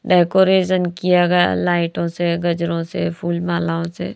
Decoration किया गया लाइटों से गजरों से फूल मालाओं से।